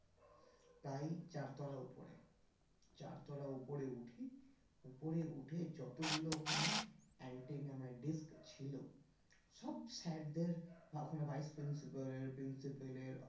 প্রায় চার তলা উপরে চার তলা উপরে উঠি উপরে উঠে যতগুলো ওখানে antenna মানে dish ছিল সব sir দের ওখানে vice principle এর principle এর